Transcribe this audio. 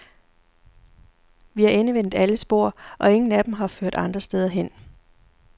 Vi har endevendt alle spor, og ingen af dem har ført andre steder hen.